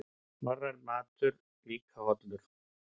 Norrænn matur líka hollur